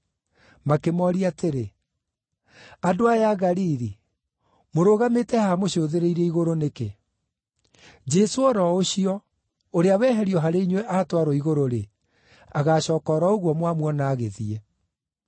Makĩmooria atĩrĩ, “Andũ aya a Galili, mũrũgamĩte haha mũcũthĩrĩirie igũrũ nĩkĩ? Jesũ o ro ũcio, ũrĩa weherio harĩ inyuĩ aatwarwo igũrũ-rĩ, agaacooka o ro ũguo mwamuona agĩthiĩ.”